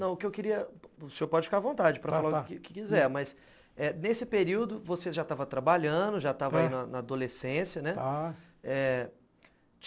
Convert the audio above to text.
Não, o que eu queria... O senhor pode ficar à vontade para falar o que quiser, mas, eh... Nesse período, você já estava trabalhando, já estava aí na adolescência, né?